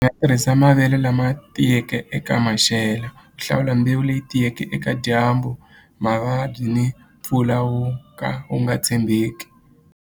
Nga tirhisa mavele lama tiyeke eka maxelo ku hlawula mbewu leyi tiyeke eka dyambu mavabyi ni mpfula wu ka wu nga tshembeki.